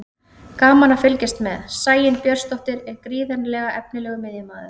Gaman að fylgjast með: Sæunn Björnsdóttir er gríðarlega efnilegur miðjumaður.